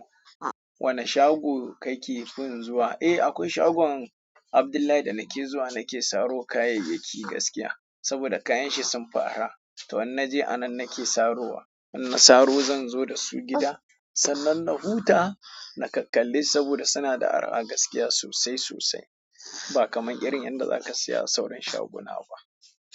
Wane shago kake fin zuwa? Eh, akwai shagon Abdullahi da nake zuwa. Nake saro kayayyaki gaskiya saboda kayan shi sun fara. To in na je a nan nake sarowa. Idan na saro zan zo da su gida sannan na huta na kakalle su saboda suna da araha gaskiya sosai sosai ba kaman irin yanda zaka saya a sauran shaguna ba.